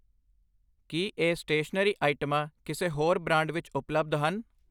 ਕੀ ਇਹ ਸਟੇਸ਼ਨਰੀ ਆਈਟਮਾਂ ਕਿਸੇ ਹੋਰ ਬ੍ਰਾਂਡ ਵਿੱਚ ਉਪਲੱਬਧ ਹਨ ?